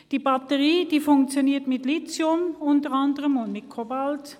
Die Batterie funktioniert unter anderem mit Lithium und Kobalt.